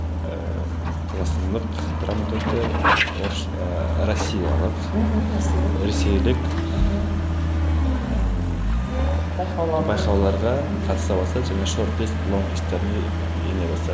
ііі қазақстандық драматургтер орыс ыыы россиялық мхм ресейлік ресейлік ммм байқауларға қатыса бастады және ене бастады